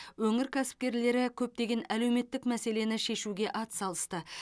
өңір кәсіпкерлері көптеген әлеуметтік мәселені шешуге атсалысты